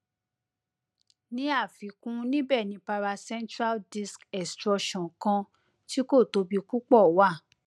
ni afikun nibẹ ni paracentral disc extrusion kan tí kò tóbi púpọ wà